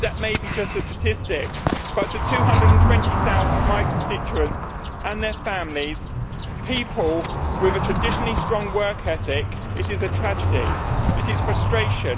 To you, that may be just a statistic, but to 220000 of my constituents and their families people with a traditionally strong work ethic it is a tragedy. It spells frustration